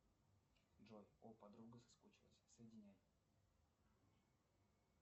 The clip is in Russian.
джой о подруга соскучилась соединяй